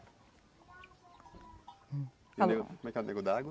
E o nego, como é que é o nego d'água?